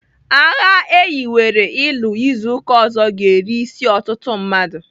Agha a eyiwere ịlụ izu ụka ọzọ ga-eri isi ọtụtụ mmadụ.